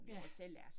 Ja